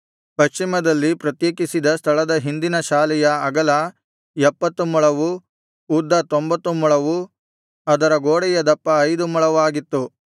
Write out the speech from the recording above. ಪಶ್ಚಿಮದಲ್ಲಿ ಪ್ರತ್ಯೇಕಿಸಿದ ಸ್ಥಳದ ಹಿಂದಿನ ಶಾಲೆಯ ಅಗಲ ಎಪ್ಪತ್ತು ಮೊಳವೂ ಉದ್ದ ತೊಂಭತ್ತು ಮೊಳವೂ ಅದರ ಗೋಡೆಯ ದಪ್ಪ ಐದು ಮೊಳವಾಗಿತ್ತು